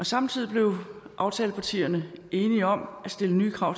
samtidig blev aftalepartierne enige om at stille nye krav